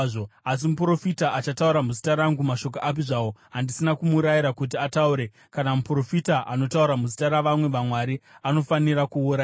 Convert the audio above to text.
Asi muprofita achataura muzita rangu mashoko api zvawo andisina kumurayira kuti ataure, kana muprofita anotaura muzita ravamwe vamwari, anofanira kuurayiwa.”